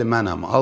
Bəli, mənəm.